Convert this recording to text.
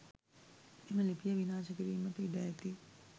මෙම ලිපිය විනාශකිරීමට ඉඩ ඇති